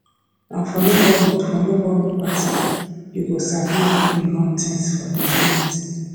na for neighborhood for neighborhood party you go sabi who dey run things for the community